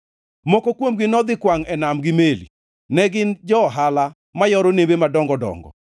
Moko kuomgi nodhi kwangʼ e nam gi meli; ne gin jo-ohala ma yoro nembe madongo dongo.